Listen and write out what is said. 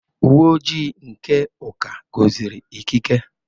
Uwe ojii nke Uka gọziri ikike.